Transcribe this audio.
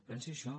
pensi això